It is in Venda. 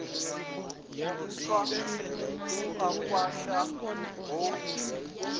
nthwa u a kwasha founu